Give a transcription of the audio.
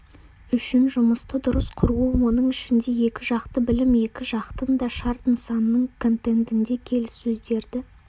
үшін жұмысты дұрыс құруы оның ішінде екіжақты білім екі жақтың да шарт нысанының контентінде келіссөздерді